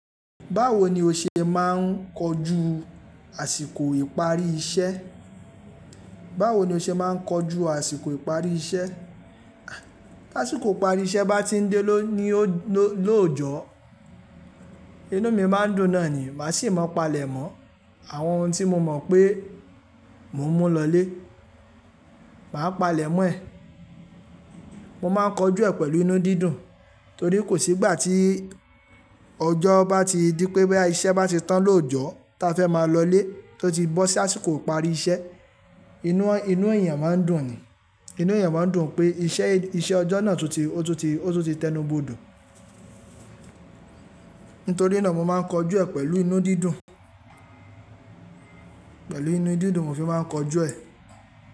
Báwo ni o ṣe máa ń kojú àsìkò ìparí iṣẹ́? Báwo ni o ṣe máa ń kojú àsìkò ìparí iṣẹ́? Tí àsìkò ìparí iṣẹ́ bá ti ń dé lóòọ́jọ́, inú mi máa ń dùn náà ni. Màá sì máa palẹ̀mọ́ àwọn ohun tí mo mọ̀ pé mo ń mú lọlé, màá palẹ̀mọ́ ẹ̀. Mo máa ń kojú ẹ̀ pẹ̀lú inú dídùn torí kò sí ìgbà tí ọjọ́ bá ti di pé bẹ́ iṣẹ́ bá ti tán lóòọ́jọ́ tí a fẹ́ máa lọ lé tó ti bọ́ sí àsìkò ìparí iṣẹ́, inú èèyàn máa ń dùn ni. Inú èèyàn máa ń dùn pé iṣẹ́ ọjọ́ náà tún ti tẹnu bodò. Nítorí náà mo máa ń kojú ẹ̀ pẹ̀lú inú dídùn, pẹ̀lú inú dídùn mo fi máa ń kojú ẹ̀.